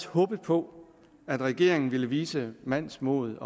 håbet på at regeringen ville vise mandsmod